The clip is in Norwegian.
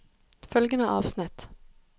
Følgende avsnitt